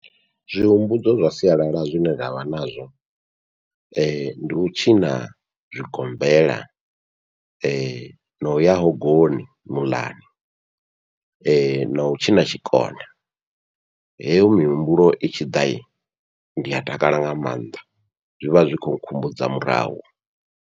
Zwihumbudzo zwa sialala zwine ndavha nazwo, ndi u tshina zwigombela na uya hogoni muḽani nau tshina tshikona, heyo mihumbulo itshi ḓa ndia takala nga maanḓa zwivha zwi kho nkhumbudza murahu.